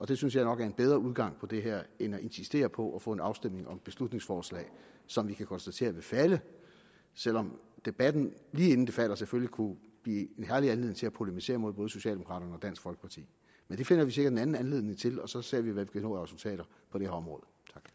det synes jeg nok er en bedre udgang på det her end at insistere på at få en afstemning om et beslutningsforslag som vi kan konstatere vil falde selv om debatten lige inden det falder selvfølgelig kunne blive en anledning til at polemisere mod både socialdemokraterne og dansk folkeparti men det finder vi sikkert en anden anledning til og så ser vi hvad vi kan nå af resultater på det her område